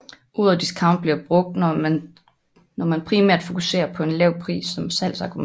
Ordet discount bliver brugt når man primært fokuserer på en lav pris som salgsargument